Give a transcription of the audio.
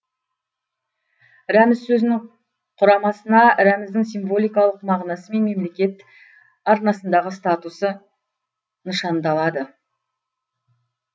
рәміз сөзінің құрамасына рәміздің символикалық мағынасы мен мемлкет арнасындағы статусы нышандалады